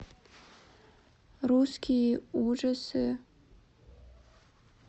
русские ужасы